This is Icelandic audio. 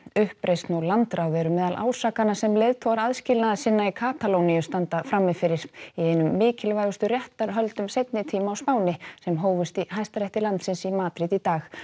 uppreisn og landráð eru meðal ásakana sem leiðtogar aðskilnaðarsinna í Katalóníu standa frammi fyrir í einum mikilvægustu réttarhöldum seinni tíma á Spáni sem hófust í Hæstarétti landsins í Madríd í dag